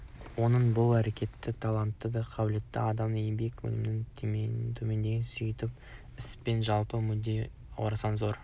оның бұл әрекеті талантты да қабілетті адамдардың еңбек өнімділігін төмендетеді сөйтіп іс пен жалпы мүддеге орасан зор нұқсан